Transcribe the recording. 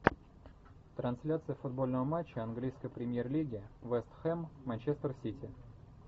трансляция футбольного матча английской премьер лиги вест хэм манчестер сити